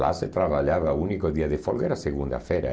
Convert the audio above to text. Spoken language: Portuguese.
Lá se trabalhava o único dia de folga, era segunda-feira.